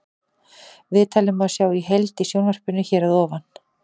Viðtalið má sjá í heild í sjónvarpinu hér að ofan.